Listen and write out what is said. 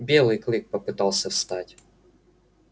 белый клык попытался встать